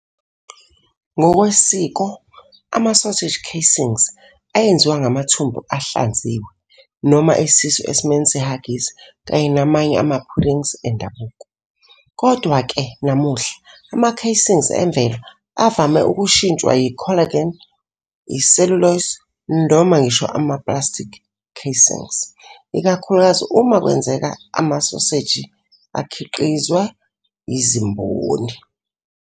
Ngokwesiko, ama-sausage casings ayenziwa ngamathumbu ahlanziwe, noma izisu esimweni se- haggis kanye namanye ama-puddings endabuko. Kodwa-ke, namuhla, ama-casings emvelo avame ukushintshwa yi- collagen, i- cellulose, noma ngisho nama-plastic casings, ikakhulukazi uma kwenzeka amasoseji akhiqizwa yizimboni.